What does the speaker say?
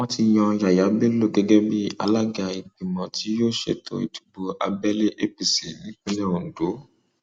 wọn ti yan yaya bello gẹgẹ bíi alága ìgbìmọ tí yóò ṣètò ìdìbò abẹlé apc nípínlẹ ondo